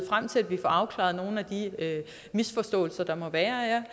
frem til at vi får afklaret nogle af de misforståelser der måtte være